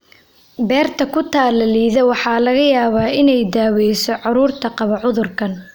Beerka ku-tallaalidda waxaa laga yaabaa inay daaweyso carruurta qaba cudurkan.